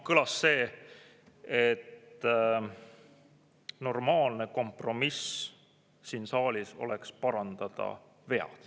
Kõlas see, et normaalne kompromiss siin saalis oleks vead parandada.